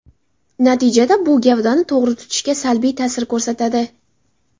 Natijada bu gavdani to‘g‘ri tutishga salbiy ta’sir ko‘rsatadi.